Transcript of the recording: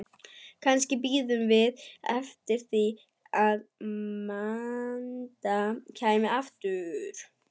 Kannski biðum við eftir því að Magda kæmi aftur.